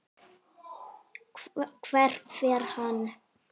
Hvert fer hann?